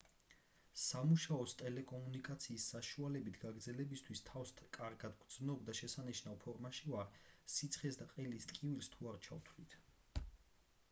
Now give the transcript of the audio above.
სამუშაოს ტელეკომუნიკაციის საშუალებით გაგრძელებისთვის თავს კარგად ვგრძნობ და შესანიშნავ ფორმაში ვარ სიცხეს და ყელის ტკივილს თუ არ ჩავთვლით